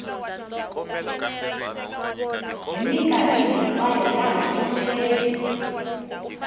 hi mikarhi hinkwayo laha vundzeni